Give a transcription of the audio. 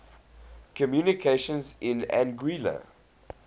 communications in anguilla